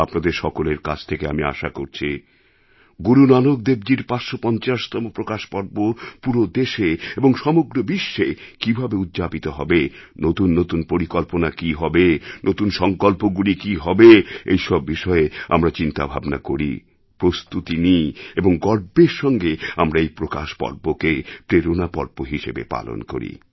আপনাদের সকলের কাছ থেকে আমি আশা করছি গুরু নানকদেবজীর ৫৫০তম প্রকাশ পর্ব পুরো দেশে এবং সমগ্র বিশ্বে কীভাবে উদ্যাপিত হবে নতুন নতুন পরিকল্পনা কী হবে নতুন সংকল্পগুলি কী হবে এইসব বিষয়ে আমরা চিন্তাভাবনা করি প্রস্তুতি নিই এবং গর্বের সঙ্গে আমরা এই প্রকাশ পর্বকে প্রেরণা পর্ব হিসাবে পালন করি